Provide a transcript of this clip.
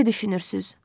Necə düşünürsüz?